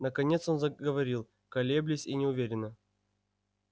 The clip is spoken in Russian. наконец он заговорил колеблясь и неуверенно